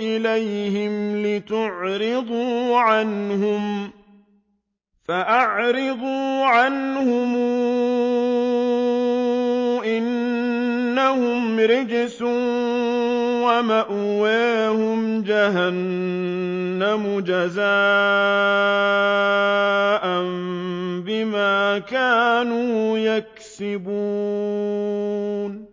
إِلَيْهِمْ لِتُعْرِضُوا عَنْهُمْ ۖ فَأَعْرِضُوا عَنْهُمْ ۖ إِنَّهُمْ رِجْسٌ ۖ وَمَأْوَاهُمْ جَهَنَّمُ جَزَاءً بِمَا كَانُوا يَكْسِبُونَ